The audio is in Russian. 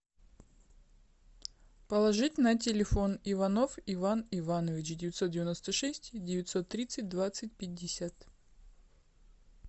положить на телефон иванов иван иванович девятьсот девяносто шесть девятьсот тридцать двадцать пятьдесят